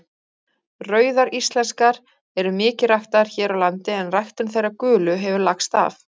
Rauðar íslenskar eru mikið ræktaðar hér á landi en ræktun þeirra gulu hefur lagst af.